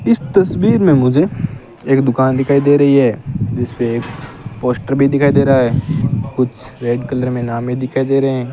इस तस्वीर में मुझे एक दुकान दिखाई दे रही है जिस पे एक पोस्टर भी दिखाई दे रहा है कुछ रेड कलर में नाम भी दिखाई दे रहे हैं।